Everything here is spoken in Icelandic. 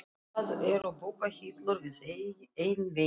Það eru bókahillur við einn vegginn.